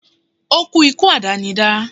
ó kú ikú àdánidá